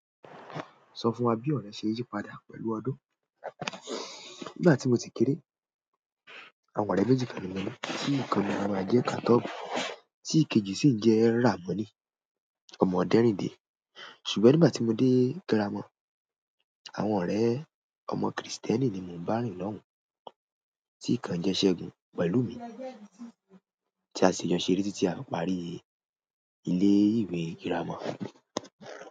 Sọ fún wa bí ọ̀rẹ́ ṣe yí padà pẹ̀lú ọdún. Nígbà tí mo ti kere, àwọn ọ̀rẹ́ méjì kan ni mọ́ni tí kan ní wọn Jẹ́kátọ́bù tí ikejì sì ń jẹ́ Ràmọ́nì, ọmọ Ọ̀derìnde. Ṣùgbọ́n nígbà tí mo dé girama, àwọn ọ̀rẹ́ ọmọ Krìstẹ́nì ni mo bá rìn lọ́hùn, tí kan jẹ́ ṣẹ́gun pẹ̀lú mi tí a sì jọ ṣeré títí a parí ilé-ìwé girama.